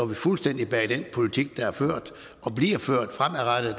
vi fuldstændig bag den politik der er ført og bliver ført fremadrettet